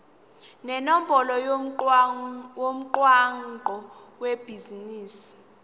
nenombolo yomgwaqo webhizinisi